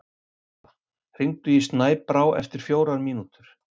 Ora, hringdu í Snæbrá eftir fjórar mínútur.